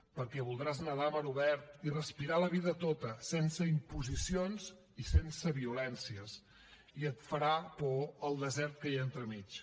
perquè voldràs nedar a mar obert i respirar la vida tota sense imposicions i sense violències i et farà por el desert que hi ha entremig